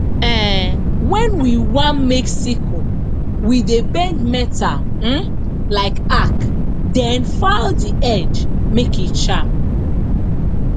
um wen we want make sickle we dey bend metal um like arc then file the edge make e sharp